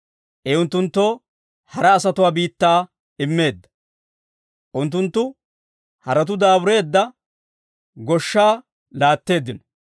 I unttunttoo hara asatuwaa biittaa immeedda; unttunttu haratuu daabureedda goshshaa laatteeddino.